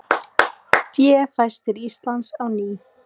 Fé fæst til Íslands á ný